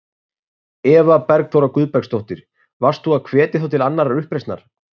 Eva Bergþóra Guðbergsdóttir: Varst þú að hvetja þá til annarrar uppreisnar?